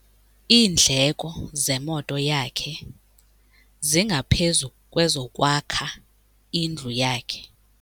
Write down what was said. Iindleko zemoto yakhe zingaphezu kwezokwakha indlu yakhe.